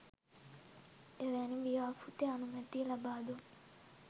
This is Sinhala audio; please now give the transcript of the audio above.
එවැනි ව්‍යාපෘති අනුමැතිය ලබා දුන්